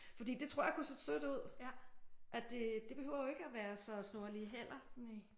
Fordi det tror jeg kunne se sødt ud at det det behøver jo ikke være så snorlige heller